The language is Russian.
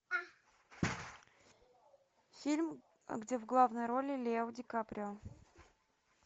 фильм где в главной роли лео ди каприо